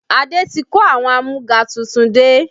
Adé ti kó àwọn amúga tuntun dé